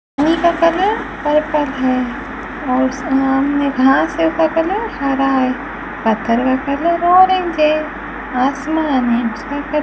पानी का colour purple है और सामने घास में का कलर हरा है पत्थर का कलर ऑरेंज है आसमान है जिसका कल --